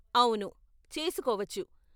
అవును, చేసుకోవచ్చు .